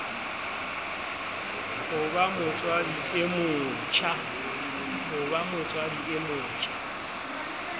ho ba motswadi e motjha